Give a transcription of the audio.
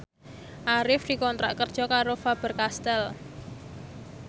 Arif dikontrak kerja karo Faber Castel